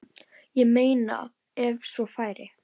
Ég meina ef svo færi.